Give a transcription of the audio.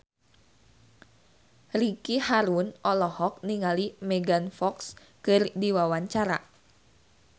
Ricky Harun olohok ningali Megan Fox keur diwawancara